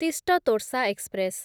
Teesta Torsa express